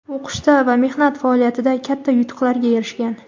o‘qishda va mehnat faoliyatida katta yutuqlarga erishgan.